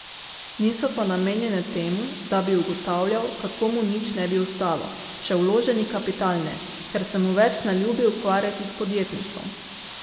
Niso pa namenjene temu, da bi ugotavljal, kako mu nič ne bi ostalo, še vloženi kapital ne, ker se mu več ne ljubi ukvarjati s podjetništvom.